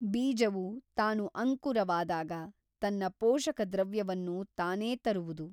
ಬೀಜವು ತಾನು ಅಂಕುರವಾದಾಗ ತನ್ನ ಪೋಷಕದ್ರವ್ಯವನ್ನು ತಾನೇ ತರುವುದು.